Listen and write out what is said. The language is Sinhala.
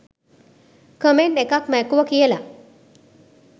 කමෙන්ට් එකක් මැකුව කියල